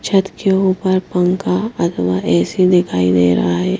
छत के ऊपर पंखा अथवा ए_सी दिखाई दे रहा है।